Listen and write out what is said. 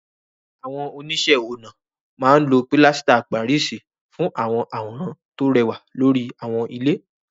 Àwọn oníṣẹ́-ọnà máa ń lo pilasita Páríìsì fún àwọn àwòrán tó rẹwà lórí àwọn ilé.